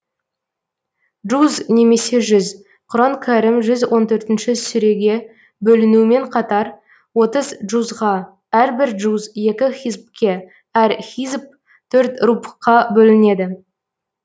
джуз немесе жүз құран кәрім жүз он төртінші сүреге бөлінуімен қатар отыз джузға әрбір джуз екі хизбке әр хизб төрт рубғқа бөлінеді